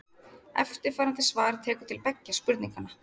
Eftirfarandi svar tekur til beggja spurninganna.